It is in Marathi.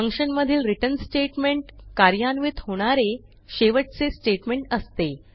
फंक्शनमधील रिटर्न स्टेटमेंट कार्यान्वित होणारे शेवटचे स्टेटमेंट असते